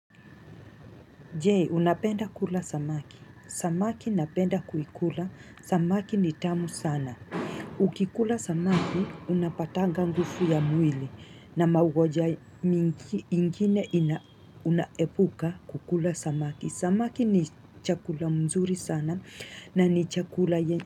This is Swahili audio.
Je unapenda kula samaki. Samaki napenda kuikula. Samaki ni tamu sana. Ukikula samaki unapatanga ngufu ya mwili na maugoja ming ingine ina unaepuka kukula samaki. Samaki ni chakula mzuri sana na ni chakula ye.